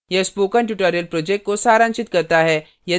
यह spoken tutorial project को सारांशित करता है